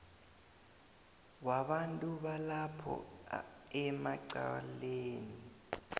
wabantu balapho emacaleni